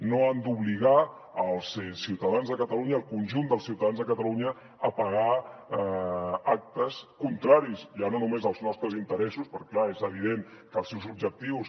no han d’obligar els ciutadans de catalunya el conjunt dels ciutadans de catalunya a pagar actes contraris ja no només als nostres interessos perquè clar és evident que els seus objectius